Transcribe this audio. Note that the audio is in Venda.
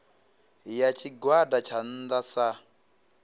ya tshigwada tsha nnda sa